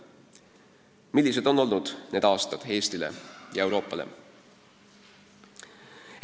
Millised on olnud need aastad Eestile ja Euroopale?